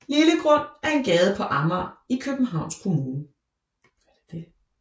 Lillegrund er en gade på Amager i Københavns Kommune